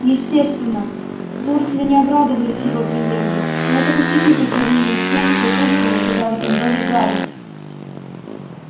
естественно дурсли не обрадовались его приезду но это пустяки по сравнению с тем что чувствовал живя в этом доме гарри